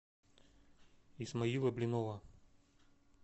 исмаила блинова